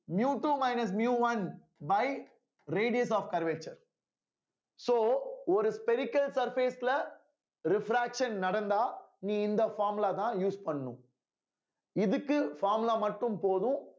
miu to minus miu one by radius of curvature so ஒரு spherical surface ல refraction நடந்தா நீ இந்த formula தான் use பண்ணணும் இதுக்கு formula மட்டும் போதும்